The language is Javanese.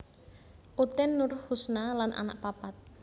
Utin Nurhusna lan anak papat